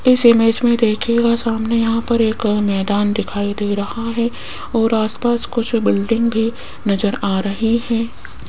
इस इमेज मे देखियेगा सामने यहां पर एक मैदान दिखाई दे रहा है और आस पास कुछ बिल्डिंग भी नज़र आ रही है।